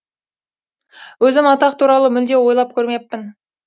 өзім атақ туралы мүлде ойлап көрмеппін